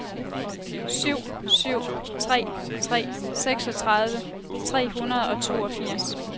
syv syv tre tre seksogtredive tre hundrede og toogfirs